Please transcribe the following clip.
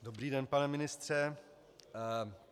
Dobrý den, pane ministře.